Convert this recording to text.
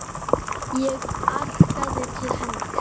Ég arkaði til hennar.